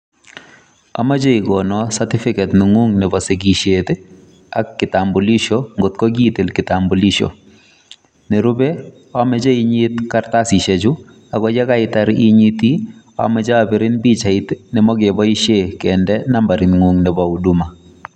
Amache igonon certificate neng'ung nebo sigisiet ak kitambulisho ngot ko kiitil kitambulisho nerube amache inyit kartasishechu, ago ye kaitar inyiti amache abirin pichait nebokeboishen kinde nambaring'ung nebo huduma.